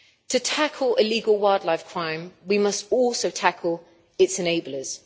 To tackle illegal wildlife crime we must also tackle its enablers.